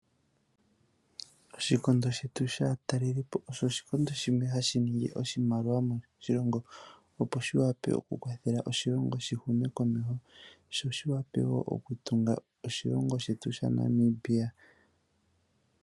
Oshikondo shetu shaatalelipo osho oshikondo shimwe ha shi ningi oshimaliwa moshilongo, opo shi wape oku kwathela oshilongo shi hume komeho, sho shi wape wo okutunga oshilongo shetu sha Namibia.